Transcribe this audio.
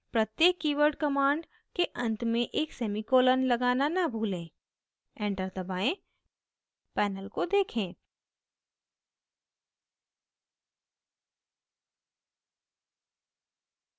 प्रत्येक keyword command के अंत में एक semicolon लगाना न भूलें enter दबाएं panel को देखें